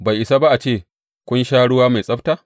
Bai isa ba a ce kun sha ruwa mai tsabta?